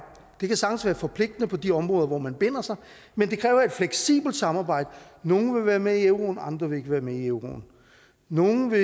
det kan sagtens være forpligtende på de områder hvor man binder sig men det kræver et fleksibelt samarbejde nogle vil være med i euroen andre vil ikke være med i euroen nogle vil